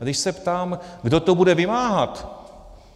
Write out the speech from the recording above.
A když se ptám, kdo to bude vymáhat.